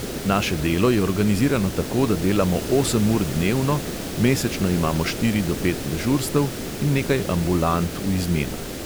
Naše delo je organizirano tako, da delamo osem ur dnevno, mesečno imamo štiri do pet dežurstev in nekaj ambulant v izmenah.